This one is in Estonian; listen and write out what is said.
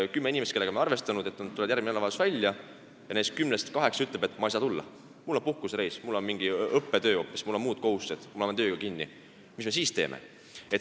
Kui me oleme arvestanud, et kümme inimest tulevad järgmisel nädalavahetusel välja, aga neist kaheksa ütlevad, et nad ei saa tulla, kellel on puhkusereis, kellel on mingi õppetöö hoopis, kellel muud kohustused ja kes on tööga kinni – mis me siis teeme?